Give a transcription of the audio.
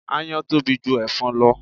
Aáyán tóbi ju ẹ̀fọn lọ